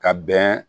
Ka bɛn